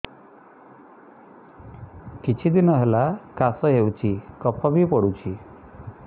କିଛି ଦିନହେଲା କାଶ ହେଉଛି କଫ ବି ପଡୁଛି